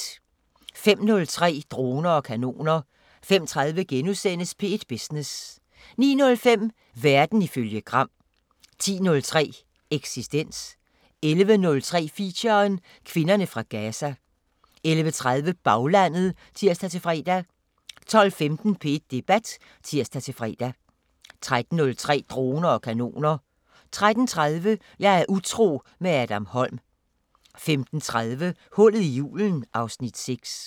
05:03: Droner og kanoner 05:30: P1 Business * 09:05: Verden ifølge Gram 10:03: Eksistens 11:03: Feature: Kvinderne fra Gaza 11:30: Baglandet (tir-fre) 12:15: P1 Debat (tir-fre) 13:03: Droner og kanoner 13:30: Jeg er utro – med Adam Holm 15:30: Hullet i julen (Afs. 6)